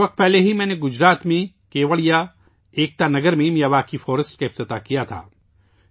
کچھ عرصہ پہلے، میں نے گجرات میں کیوڑیا، ایکتا نگر میں میاواکی جنگل کا افتتاح کیا تھا